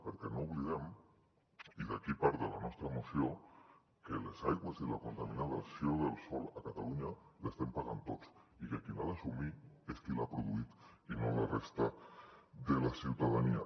perquè no oblidem i d’aquí ve part de la nostra moció que les aigües i la contaminació del sòl a catalunya les estem pagant tots i que qui les ha d’assumir és qui les ha produït i no la resta de la ciutadania